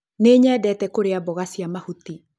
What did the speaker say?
Nĩnyendete kũrĩa mboga cia mahũtĩ